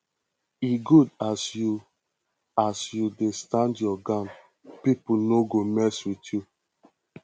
e good as you as you dey stand your ground pipo no go mess wit you